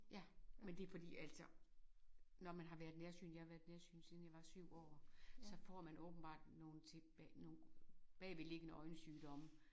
Ja men det fordi altså når man har været nærsynet jeg har været nærsynet siden jeg var 7 år så får man åbenbart nogle ting nogen bagvedliggende øjensygdomme